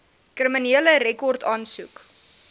kriminele rekord aansoek